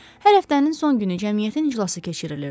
Hər həftənin son günü Cəmiyyətin iclası keçirilirdi.